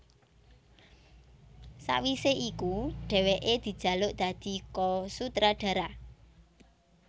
Sawisé iku dhèwèké dijaluk dadi ko sutradara